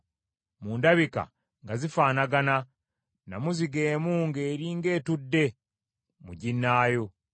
Mu ndabika nga zifaanagana, nnamuziga emu ng’eri ng’etudde mu ginnaayo.